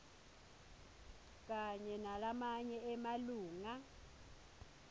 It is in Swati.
kanye nalamanye emalunga